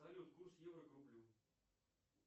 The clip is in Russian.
салют курс евро к рублю